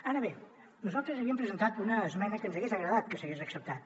ara bé nosaltres havíem presentat una esmena que ens hagués agradat que s’hagués acceptat